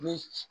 Ni